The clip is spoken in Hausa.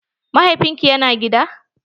Mahaifin ki ya na gida?